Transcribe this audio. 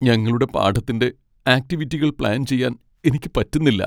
ഞങ്ങളുടെ പാഠത്തിന്റെ ആക്റ്റിവിറ്റികൾ പ്ലാൻ ചെയ്യാൻ എനിക്ക് പറ്റുന്നില്ല.